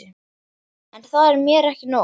En það er mér ekki nóg.